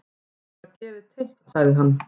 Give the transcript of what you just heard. Mér var gefið teikn sagði hann.